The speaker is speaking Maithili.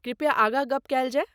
कृपया आगाँ गप कएल जाए।